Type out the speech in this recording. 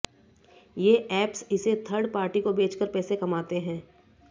ये ऐप्स इसे third party को बेचकर पैसे कमाते हैं